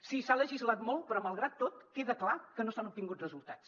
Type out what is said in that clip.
sí s’ha legislat molt però malgrat tot queda clar que no s’han obtingut resultats